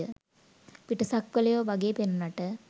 පිටසක්වලයෝ වගේ පෙනුනට